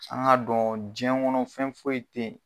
An k'a dɔn diɲɛ kɔnɔ fɛn foyi teyi.